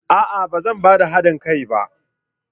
A'a! Ba zan ba da hadin kai ba.